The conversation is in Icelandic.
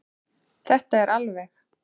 Þetta er alveg.